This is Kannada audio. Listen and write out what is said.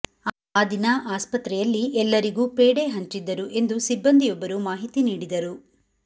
ಆ ದಿನ ಆಸ್ಪತ್ರೆಯಲ್ಲಿ ಎಲ್ಲರಿಗೂ ಪೇಢೆ ಹಂಚಿದ್ದರು ಎಂದು ಸಿಬ್ಬಂದಿಯೊಬ್ಬರು ಮಾಹಿತಿ ನೀಡಿದರು